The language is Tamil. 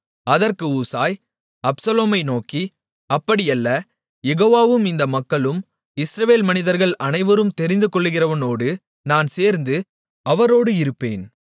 அதற்கு ஊசாய் அப்சலோமை நோக்கி அப்படி அல்ல யெகோவாவும் இந்த மக்களும் இஸ்ரவேல் மனிதர்கள் அனைவரும் தெரிந்துகொள்ளுகிறவரோடு நான் சேர்ந்து அவரோடு இருப்பேன்